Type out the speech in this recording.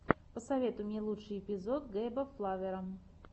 посоветуй мне лучший эпизод гейба флавера